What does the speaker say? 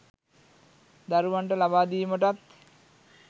දරුවන්ට ලබා දීමටත්